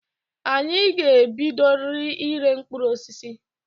Anyị ga-ebidoriri ire mkpụrụ osisi.